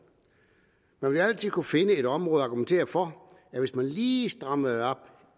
man vil altid kunne finde et område argumentere for at hvis man lige strammede op